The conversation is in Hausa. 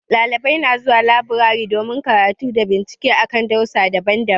Ɗalibai na zuwa laburare domin karatu da bincike akan darussa daban-daban.